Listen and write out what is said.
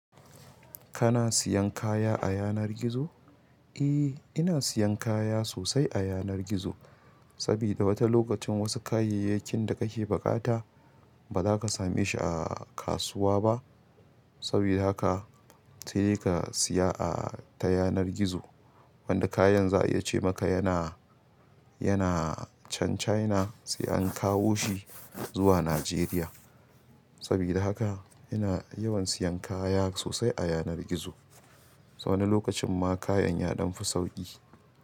Kana siyan kaya a yanar gizo? Eh, ina siyan kaya sosai a yanar gizo, sabida wata lokacin wasu kayayyakin da kake buƙata ba za ka same shi a kasuwa ba. Sabida haka sai dai ka siya a ta yanar gizo. Wanda kayan za a iya ce maka yana, yana chan China sai an kawo shi zuwa Najeriya. Sabida haka ina yawan siyan kaya sosai a yanar gizo. Wani lokacin ma kayan ya damfi sauƙi.